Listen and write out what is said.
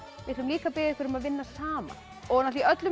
við ætlum líka að biðja ykkur um að vinna saman í öllum